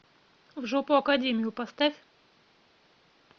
в жопу академию поставь